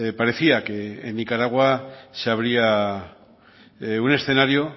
parecía que en nicaragua se habría un escenario